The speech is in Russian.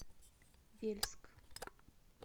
вельск